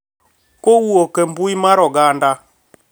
Kawuok e mbui mar oganda